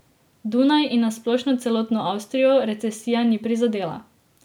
Dunaj in na splošno celotno Avstrijo recesija ni prizadela.